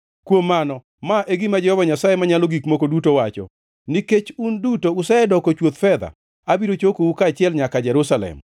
Kuom mano, ma e gima Jehova Nyasaye Manyalo Gik Moko Duto wacho: ‘Nikech un duto usedoko chuoth fedha, abiro chokou kaachiel nyaka Jerusalem.